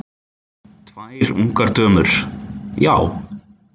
Tvær ungar dömur: Já.